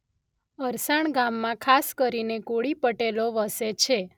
અરસાણ ગામમાં ખાસ કરીને કોળી પટેલો વસે છે.